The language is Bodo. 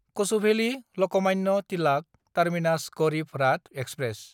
कछुभेलि–लकमान्य तिलाक टार्मिनास गारिब राथ एक्सप्रेस